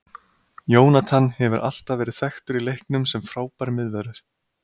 Jonathan hefur alltaf verið þekktur í leiknum sem frábær miðvörður.